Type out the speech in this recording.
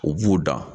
U b'u dan